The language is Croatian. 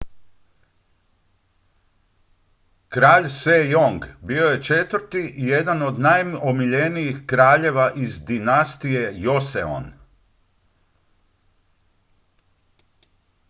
kralj sejong bio je četvrti i jedan od najomiljenijih kraljeva iz dinastije joseon